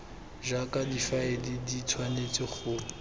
jaaka difaele di tshwanetse go